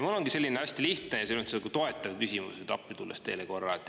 Mul ongi selline hästi lihtne ja selles mõttes nagu toetav küsimus, appi tulles teile korra.